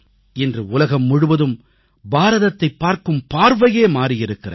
இன்று உலகம் முழுவதும் பாரதத்தைப் பார்க்கும் பார்வையே மாறியிருக்கிறது